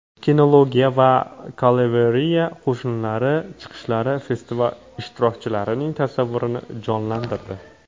Kinologiya va kavaleriya qo‘shinlari chiqishlari festival ishtirokchilarining tasavvurini jonlantirdi.